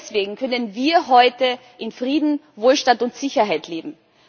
Nur deswegen können wir heute in Frieden, Wohlstand und Sicherheit leben.